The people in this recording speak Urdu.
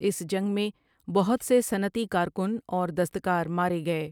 اس جنگ میں بہت سے صنعتی کارکن اور دستکار مارے گئے ۔